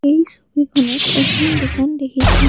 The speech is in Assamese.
এই ছবিখনত এখন দোকান দেখিছোঁ।